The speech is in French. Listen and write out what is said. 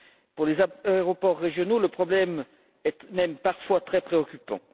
Pour les aéroports régionaux, le problème est même parfois très préoccupant.